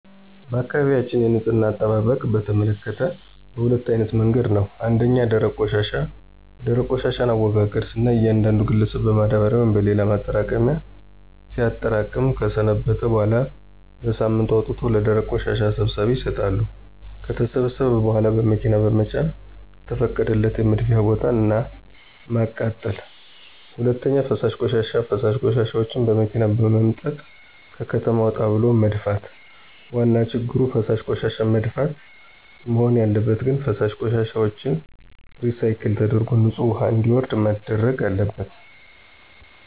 በአካባቢያችን የንፅህና አጠባበቅን በተመከተ በሁለት አይነት መንገድ ነው። ፩) ደረቅ ቆሻሻ፦ የደረቅ ቆሻሻን አወጋገድ ስናይ እያንዳንዱ ግለሰብን በማዳበሪያ ወይም በሌላ ማጠራቀሚያ ሲያጠራቅም ከሰነበተ በኋላ በሳምንቱ አውጥቶ ለደረቅ ቆሻሻ ሰብሳቢዎች ይሰጣሉ። ከተሰበሰበ በኋላ በመኪና በመጫን ከተፈቀደለት የመድፊያ ቦታ እና ማቃጠል። ፪) ፈሳሽ ቆሻሻ፦ ፈሳሽ ቆሻሻዎችን በመኪና በመምጠጥ ከከተማ ወጣ ብሎ መድፋት። ዋና ችግሩ ፈሳሽ ቆሻሻዎችን መድፋት? መሆን ያለበት ግን ፈሳሽ ቆሻሻዎችን ሪሳይክል ተደርጎ ንፅህ ውሀ እንዲወርድ መደረግ አለበት።